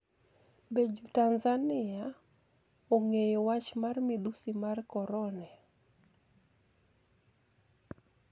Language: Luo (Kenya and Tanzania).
Be Jo-Tanizaniia onig'eyo wach mar midhusi mar koronia?